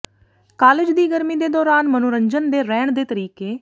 college ਦੀ ਗਰਮੀ ਦੇ ਦੌਰਾਨ ਮਨੋਰੰਜਨ ਦੇ ਰਹਿਣ ਦੇ ਤਰੀਕੇ